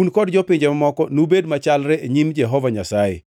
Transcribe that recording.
Un kod jopinje mamoko nubed machalre e nyim Jehova Nyasaye: